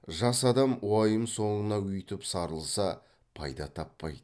жас адам уайым соңына өйтіп сарылса пайда таппайды